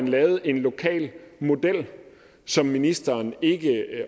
lavet en lokal model som ministeren ikke